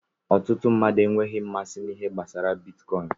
Ọtụtụ mmadụ enweghị mmasị na ihe gbasara bitkọin.